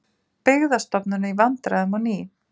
Byggðastofnun í vandræðum á ný